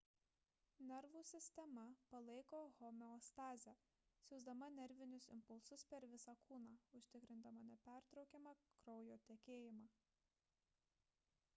nervų sistema palaiko homeostazę siųsdama nervinius impulsus per visą kūną užtikrindama nepertraukiamą kraujo tekėjimą